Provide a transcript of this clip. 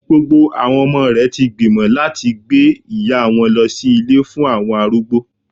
Gbogbo àwọn ọmọ rè ti gbìmọ̀ láti gbé ìyá wọn lọ sí Ilé fún àwọn arúgbó